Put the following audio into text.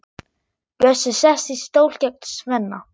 Bjössi sest í stól gegnt Svenna.